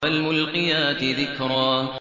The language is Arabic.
فَالْمُلْقِيَاتِ ذِكْرًا